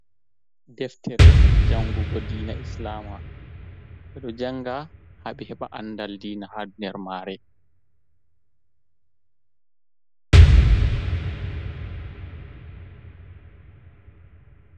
Deftere jangugo diina islama bedo janga haɓi heba andal diina ha nder mare.